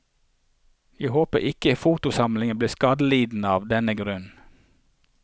Jeg håper ikke fotosamlingen blir skadelidende av den grunn.